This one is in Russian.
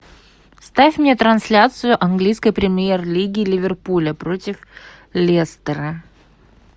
ставь мне трансляцию английской премьер лиги ливерпуля против лестера